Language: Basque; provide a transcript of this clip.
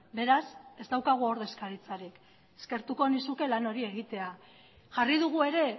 beraz ez daukagu ordezkaritzarik eskertuko nizuke lan hori egitea jarri dugu ere